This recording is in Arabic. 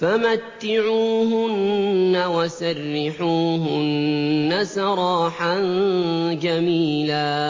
فَمَتِّعُوهُنَّ وَسَرِّحُوهُنَّ سَرَاحًا جَمِيلًا